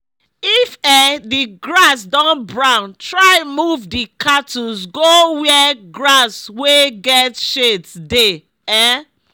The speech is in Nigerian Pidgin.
if um the grass don brown try move d cattles go where grass wey get shades dey um